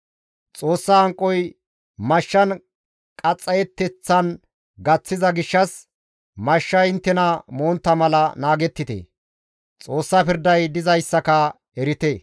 Xoossa hanqoy mashshan qaxxayeteththan gaththiza gishshas mashshay inttena montta mala naagettite. Xoossa pirday dizayssaka erite.»